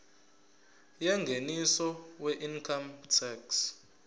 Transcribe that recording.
yengeniso weincome tax